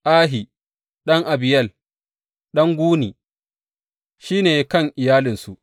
Ahi ɗan Abiyel, ɗan Guni, shi ne kan iyalinsu.